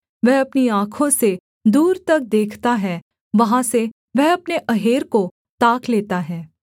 वह अपनी आँखों से दूर तक देखता है वहाँ से वह अपने अहेर को ताक लेता है